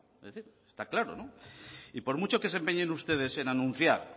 está claro no y por mucho que se empeñen ustedes en anunciar